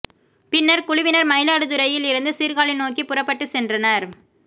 பின்னர் குழுவினர் மயிலாடுதுறையில் இருந்து சீர்காழி நோக்கி புறப்பட்டு சென்றனர்